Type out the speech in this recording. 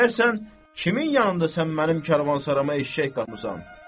Deyərsən, kimin yanında sən mənim kərvansarama eşşək qatmısan?